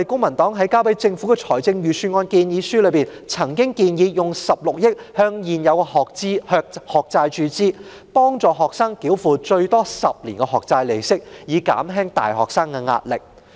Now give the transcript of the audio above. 在提交予政府的財政預算案建議書中，公民黨曾建議動用16億元注資未償還學債，幫助學生繳付最多10年的學債利息，以減輕大學生的壓力。